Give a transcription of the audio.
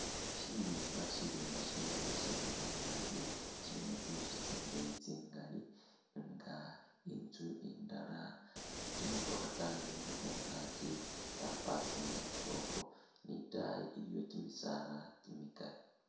Shirimba shirimba shino nga shamiliya naabi, shilimo tsinzu tsindeeyi tsingaali nga inzu indala tsi'motokha tsaninile khungaaki tsa pakingakile ukhwo ne itaayi iliyo kimisaala kimikaali.